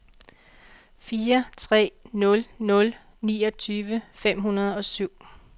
fire tre nul nul niogtyve fem hundrede og syv